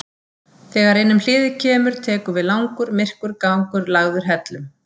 Þegar innum hliðið kemur tekur við langur, myrkur gangur lagður hellum.